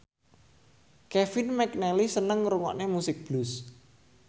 Kevin McNally seneng ngrungokne musik blues